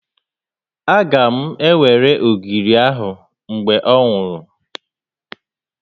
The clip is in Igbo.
Aga m ewere ogiri a mgbe ọ nwụrụ